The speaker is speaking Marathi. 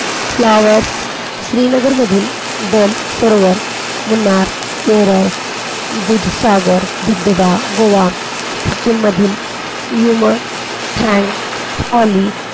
फ्लॉवर्स, श्रीनगर मधील डल सरोवर, मुन्नार केरळ, दूधसागर, दुधगा, गोवा, सिक्कीम मधील यमन, , हॉली,